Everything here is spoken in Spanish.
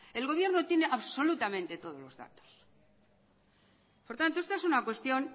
el gobierno tiene absolutamente todos los datos por tanto esta es una cuestión